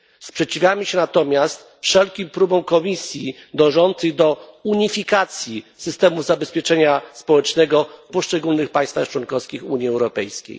Sprzeciwiamy się natomiast wszelkim próbom Komisji dążącym do unifikacji systemu zabezpieczenia społecznego w poszczególnych państwach członkowskich Unii Europejskiej.